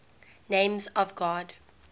names of god